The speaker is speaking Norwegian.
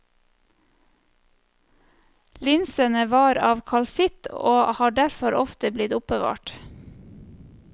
Linsene var av kalsitt og har derfor ofte blitt oppbevart.